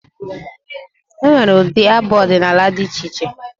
E nwere ụdị abụ odịnaala dị iche iche.